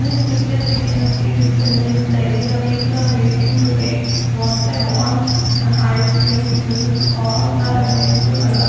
In this picture we can see this is a milk dairy the people are waiting to take what they want and ice creams milks all there available and the --